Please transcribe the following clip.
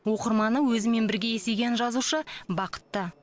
оқырманы өзімен бірге есейген жазушы бақытты